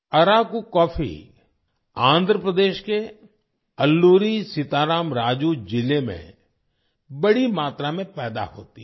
Araku coffee Andhra Pradesh के अल्लुरी सीता राम राजू जिले में बड़ी मात्रा में पैदा होती है